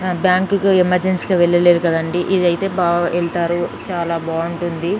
బ్యాంకుకు ఎమర్జెన్సీకి వెళ్లి లేదు కదా అండి ఇది అయితే బాగా వెళ్తారు చాలా బాగుంటుంది.